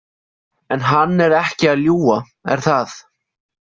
En hann er ekki að ljúga, er það?